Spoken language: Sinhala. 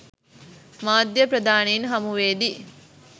මාධ්‍ය ප්‍රධානීන් හමුවේදී